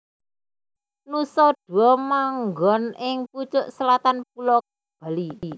Nusa Dua manggon ing pucuk selatan Pulo Bali